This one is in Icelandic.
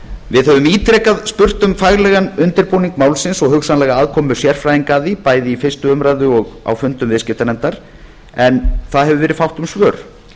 við höfum ítrekað spurt um faglegan undirbúning málsins og hugsanlega aðkomu sérfræðinga að því bæði í fyrstu umræðu og á fundum viðskiptanefndar en fátt hefur verið um svör